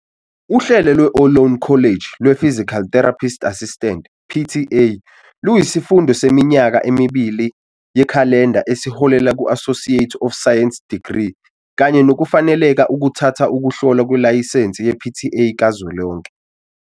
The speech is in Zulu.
Uhlelo lwe-Ohlone College lwePhysical Therapist Assistant, PTA, luyisifundo seminyaka emibili yekhalenda esiholela ku-Associate of Science Degree kanye nokufaneleka ukuthatha ukuhlolwa kwelayisensi ye-PTA Kazwelonke.